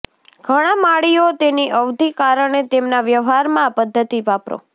ઘણા માળીઓ તેની અવધિ કારણે તેમના વ્યવહારમાં આ પદ્ધતિ વાપરો